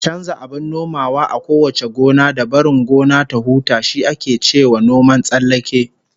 Chanza abin nomawa a kowace gona, da barin gona ta huta, shi ake cewa noman tsallake